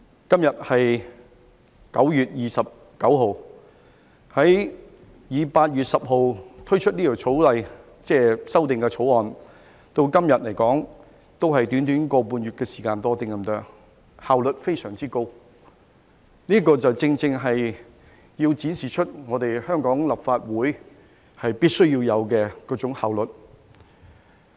今天是9月29日，以8月10日推出《條例草案》至今，只是短短1個半月時間多一點，效率非常高，這正正展示出香港立法會必須要有的效率。